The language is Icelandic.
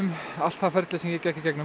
allt það sem ég gekk í gegnum